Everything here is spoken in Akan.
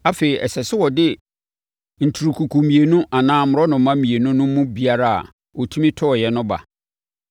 Afei, ɛsɛ sɛ ɔde nturukuku mmienu anaa mmorɔnoma mmienu no mu biara a ɔtumi tɔeɛ no ba.